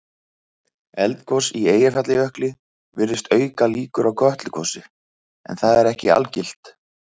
Eldgos í Eyjafjallajökli virðist auka líkur á Kötlugosi en það er ekki algilt.